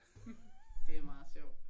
Det er meget sjovt